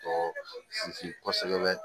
Tɔ sinsin kosɛbɛ